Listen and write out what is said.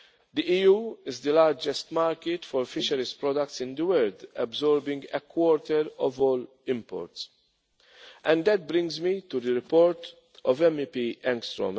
are fair. The EU is the largest market for fisheries products in the world, absorbing a quarter of all imports, and that brings me to the report of MEP